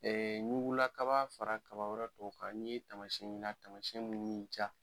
ɲugula kaba fara kaba wɛrɛ tɔw kan n'i ye taamasiyen ye n'a taamasiyen min y'i diya